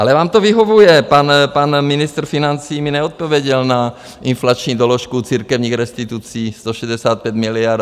Ale vám to vyhovuje, pan ministr financí mi neodpověděl na inflační doložku církevních restitucí 165 miliard.